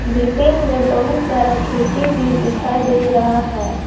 Building में बहुत सारा खिड़की भी दिखाई दे रहा है।